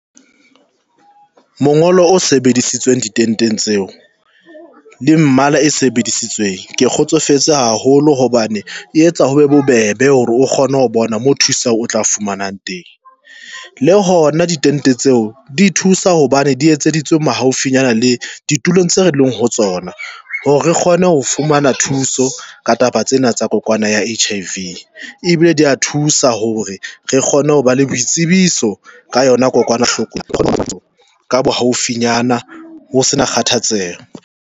Mongolo o sebedisitsweng ditenteng tseo le mmala e sebedisitsweng. Ke kgotsofetse haholo hobane e etsa ho be bobebe hore o kgone ho bona mo thuso o tla e fumanang teng. Le hona ditente tseo di thusa hobane di etseditswe mo haufinyana le ditulong tseo re leng hore ho tsona hore re kgone ho fumana thuso ka taba tsena tsa kokwana ya H_I_V ebile di a thusa hore re kgone ho ba le boitsebiso ka yona kokwana hloko ka bohaufinyana ho sena kgathatseho.